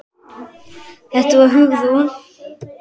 Þetta var Hugrún.